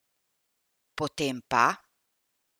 Potem pa?